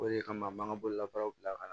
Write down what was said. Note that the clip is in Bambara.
O de kama an b'an ka bololabaaraw bila ka na